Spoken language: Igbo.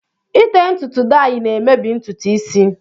Ite ntutu dayi na-emebi ntutu isi